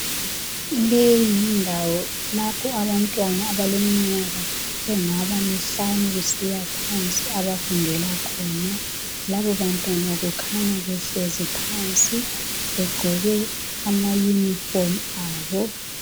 Leyi yindawo lapha abantwana abaleminyaka engaba mihlanu kusiyaphansi abafundela khona. Labo bantwana kukhanya behlezi phansi begqoke amayunifomu abo.